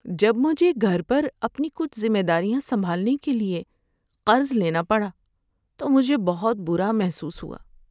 جب مجھے گھر پر اپنی کچھ ذمہ داریاں سنبھالنے کے لیے قرض لینا پڑا تو مجھے بہت برا محسوس ہوا۔